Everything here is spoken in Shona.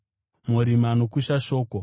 Murimi anokusha shoko.